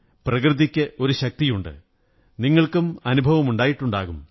പ്രകൃതിയ്ക്കൊരു ശക്തിയുണ്ട് നിങ്ങള്ക്കും അനുഭവമുണ്ടായിട്ടുണ്ടാകും